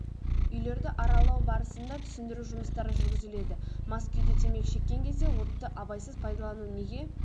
үйлерді аралау барысында түсіндіру жұмыстары жүргізіледі мас күйде темекі шеккен кезде отты абайсыз пайдалану неге